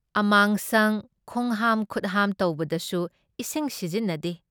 ꯑꯃꯥꯡꯁꯪ ꯈꯣꯡꯍꯥꯝ ꯈꯨꯠꯍꯥꯝ ꯇꯧꯕꯗꯁꯨ ꯏꯁꯤꯡ ꯁꯤꯖꯤꯟꯅꯗꯦ ꯫